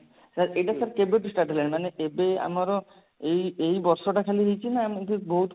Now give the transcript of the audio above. sir ଏଇଟା sir କେବେଠୁ start ହେଲାଣି ମାନେ ଏବେ ଆମର ଏଇ ଏଇ ବର୍ଷ ଟା ଖାଲି ହେଇଛି ନା ଏମିତି ବହୁତ